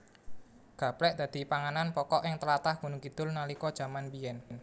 Gaplèk dadi panganan pokok ing tlatah Gunungkidul nalika jaman biyèn